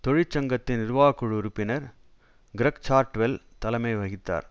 தொழிற்சங்கத்தின் நிர்வாக குழு உறுப்பினர் கிரக்சார்ட்வெல் தலைமை வகித்தார்